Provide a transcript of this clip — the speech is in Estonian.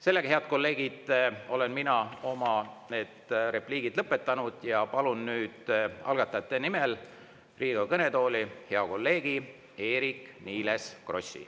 Sellega, head kolleegid, olen mina oma lõpetanud ja palun nüüd algatajate nimel Riigikogu kõnetooli hea kolleegi Eerik-Niiles Krossi.